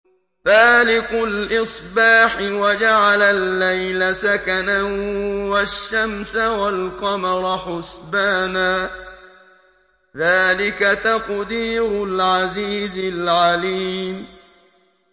فَالِقُ الْإِصْبَاحِ وَجَعَلَ اللَّيْلَ سَكَنًا وَالشَّمْسَ وَالْقَمَرَ حُسْبَانًا ۚ ذَٰلِكَ تَقْدِيرُ الْعَزِيزِ الْعَلِيمِ